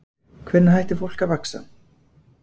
Hvenær hættir fólk að vaxa?